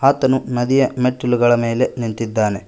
ಆತನು ನದಿಯ ಮೆಟ್ಟಿಲುಗಳ ಮೇಲೆ ನಿಂತಿದ್ದಾನೆ.